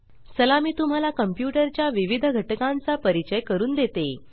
चला मी तुम्हाला कंप्यूटर च्या विविध घटकांचा परिचय करून देते